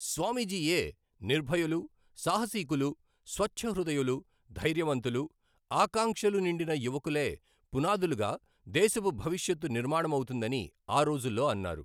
స్వామీజీయే నిర్భయులు, సాహసీకులు, స్వచ్ఛహృదయులు, ధైర్యవంతులు, ఆకాంక్షలు నిండిన యువకులే పునాదులుగా దేశపు భవిష్యత్తు నిర్మాణమౌతుందని ఆ రోజుల్లో అన్నారు.